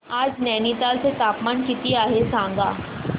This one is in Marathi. आज नैनीताल चे तापमान किती आहे सांगा